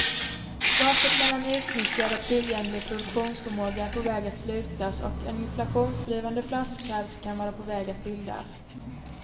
Gapet mellan utnyttjad och tillgänglig produktionsförmåga är på väg att slutas och en inflationsdrivande flaskhals kan vara på väg att bildas.